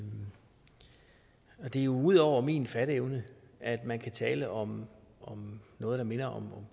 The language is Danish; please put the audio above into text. er jo ud over min fatteevne at man kan tale om noget der minder om